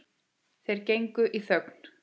Þeir gengu í þögn.